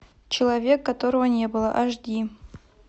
человек которого не было аш ди